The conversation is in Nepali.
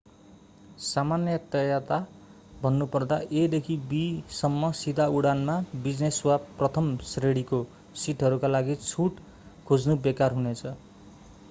सामान्यतया भन्नुपर्दा a देखि b सम्म सीधा उडानमा बिजनेस वा प्रथम श्रेणीको सिटहरूका लागि छुट खोज्नु बेकार हुनेछ